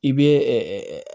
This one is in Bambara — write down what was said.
I bɛ